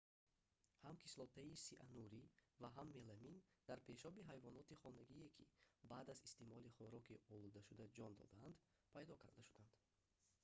ҳам кислотаи сианурӣ ва ҳам меламин дар пешоби ҳайвоноти хонагие ки баъд аз истеъмолӣ хуроки олудашуда ҷон додаанд пайдо карда шуданд